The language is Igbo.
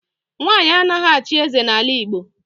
Nwanyị anaghị achị eze n'ala Igbo.